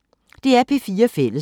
DR P4 Fælles